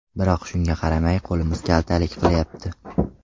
Biroq shunga qaramay qo‘limiz kaltalik qilyapti.